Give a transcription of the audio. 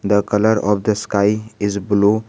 The colour of the sky is blue.